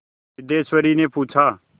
सिद्धेश्वरीने पूछा